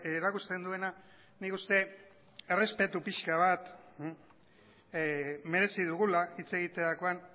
erakusten duena nik uste errespetu pixka bat merezi dugula hitz egiterakoan